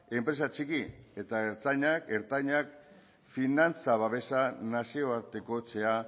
enpresa txiki eta ertainak finantza babesak nazioartekotzea